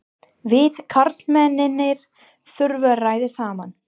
Við karlmennirnir þurfum að ræða saman.